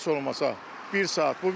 Heç olmasa bir saat.